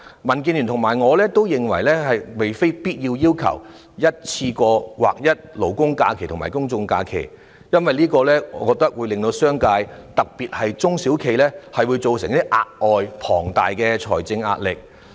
民建聯和我都不是要求一次過劃一勞工假期和公眾假期，因為這會對商界，特別是中小企，構成額外且龐大的財政壓力。